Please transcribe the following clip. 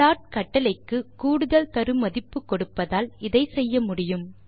plot கட்டளைக்கு கூடுதல் தரு மதிப்பு கொடுப்பதால் இதை செய்ய முடியும்